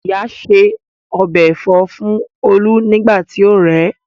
Ìyá ṣe ọbẹ̀ Ẹ̀fọ́ fún olú nígbà tí ó rẹ̀